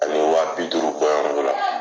A bɛ wa bi duuru bɔɲɔngo la.